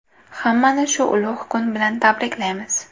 Hammani shu ulug‘ kun bilan tabriklaymiz.